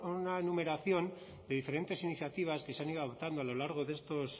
una numeración de diferentes iniciativas que se han ido adoptando a lo largo